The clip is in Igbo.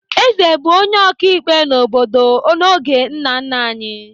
Eze bụ onye ọkaikpe n'obodo n'oge nna nna anyị.